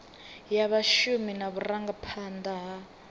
ya vhashumi na vhurangaphanda ha